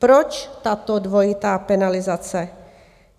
Proč tato dvojitá penalizace?